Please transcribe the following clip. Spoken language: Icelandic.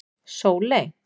Sóley